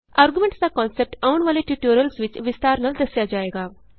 arguments ਦਾ concept ਆਉਣ ਵਾਲੇ ਟਯੂਟੋਰਿਅਲਸ ਵਿਚ ਵਿਸਤਾਰ ਨਾਲ ਦੱਸਿਆ ਜਾਏਗਾ